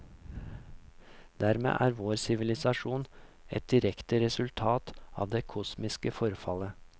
Dermed er vår sivilisasjon et direkte resultat av det kosmiske forfallet.